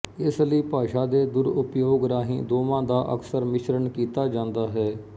ਇਸਲਈ ਭਾਸ਼ਾ ਦੇ ਦੁਰਉਪਯੋਗ ਰਾਹੀਂ ਦੋਵਾਂ ਦਾ ਅਕਸਰ ਮਿਸ਼ਰਣ ਕੀਤਾ ਜਾਂਦਾ ਹੈ